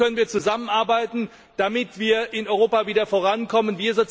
Wo können wir zusammenarbeiten, damit wir in Europa wieder vorankommen?